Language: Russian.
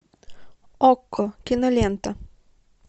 окко кинолента